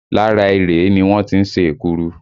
Lára erèé ni wọ́n tí ń ṣe èkuru